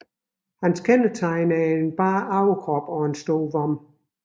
Hans kendetegn er bar overkrop og en stor vom